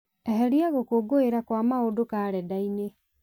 eheria gũkũngũĩra kwa maũndũ karenda-inĩ